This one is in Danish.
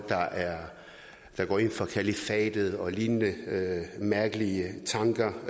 der går ind for kalifatet og lignende mærkelige tanker